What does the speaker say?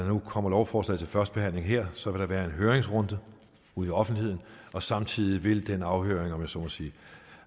nu kommer lovforslaget til første behandling her så vil der være en høringsrunde i offentligheden og samtidig vil den afhøring om jeg så må sige